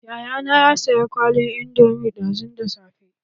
Yayana ya saya kwalin indomi ɗazun da safe.